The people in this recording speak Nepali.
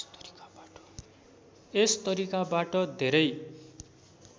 यस तरिकाबाट धेरै